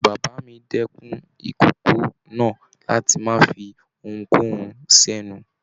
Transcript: Bàbá mí dẹkùn ikòkò náà láti má fí ohunkohun s'ẹnu.